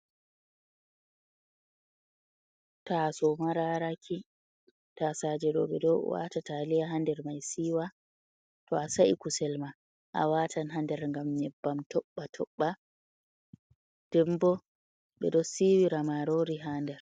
Taaso mararaki, ta saajeɗo be do waata Taaliya hader mai siiwa toasa’ikusilma a watan hader gam nyebbam tobɓa, tobɓa dembo ɓeɗo siiwira marori haader.